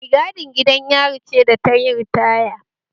Mai gadin gidan yari ce da tayi ritaya